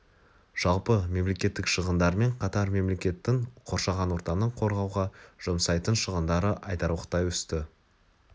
жалпы мемлекеттік шығындармен қатар мемлекеттің қоршаған ортаны қорғауға жұмсайтын шығындары айтарлықтай өсті